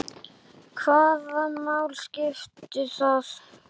Hvaða máli skipti það?